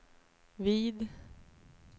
vid